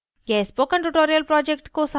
यह spoken tutorial project को सारांशित करता है